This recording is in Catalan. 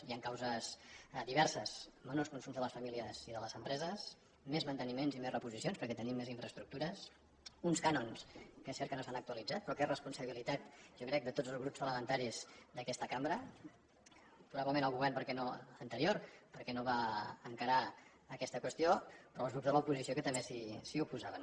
hi han causes diverses menors consums de les famílies i de les empreses més manteniments i més reposicions perquè tenim més infraestructures uns cànons que és cert que no s’han actualitzat però que és responsabilitat jo ho crec de tots els grups parlamentaris d’aquesta cambra probablement el govern anterior perquè no va encarar aquesta qüestió però els grups de l’oposició que també s’hi oposaven